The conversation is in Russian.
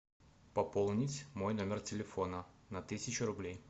пополнить мой номер телефона на тысячу рублей